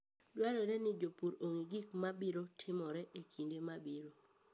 Dwarore ni jopur ong'e gik mabiro timore e kinde mabiro.